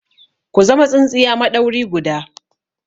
Ku zama tsintsiya maɗauri guda!